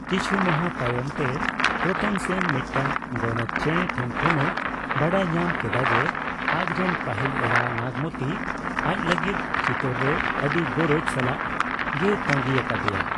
ᱠᱤᱪᱷᱩ ᱢᱟᱦᱟ ᱛᱟᱭᱚᱢ ᱛᱮ, ᱨᱚᱛᱚᱱ ᱥᱮᱱ ᱢᱤᱫᱴᱟᱝ ᱜᱳᱰᱮᱛ ᱪᱮᱸᱲᱮ ᱴᱷᱮᱱ ᱠᱷᱚᱱ ᱮ ᱵᱟᱰᱟᱭ ᱧᱟᱢ ᱠᱮᱫᱟ ᱡᱮ, ᱟᱡ ᱨᱮᱱ ᱯᱟᱹᱦᱤᱞ ᱮᱨᱟ ᱱᱟᱜᱢᱚᱛᱤ ᱟᱡ ᱞᱟᱹᱜᱤᱫ ᱪᱤᱛᱳᱨ ᱨᱮ ᱟᱹᱰᱤ ᱜᱚᱨᱚᱡ ᱥᱟᱞᱟᱜ ᱜᱮᱭ ᱛᱟᱹᱜᱤ ᱟᱠᱟᱫᱮᱭᱟ ᱾